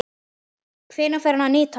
Hvenær fer hann að nýtast?